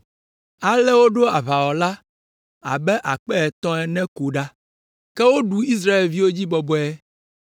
Ale woɖo aʋawɔla abe akpe etɔ̃ ene ko ɖa. Ke woɖu Israelviwo dzi bɔbɔe;